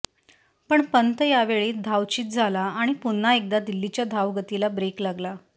पण पंत यावेळी धावचीत झाला आणि पुन्हा एकदा दिल्लीच्या धावगतीला ब्रेक लागला